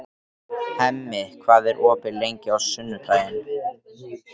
Hemmi, hvað er opið lengi á sunnudaginn?